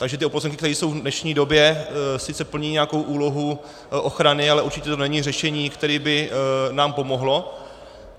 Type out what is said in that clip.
Takže ty oplocenky, které jsou v dnešní době, sice plní nějakou úlohu ochrany, ale určitě to není řešení, které by nám pomohlo.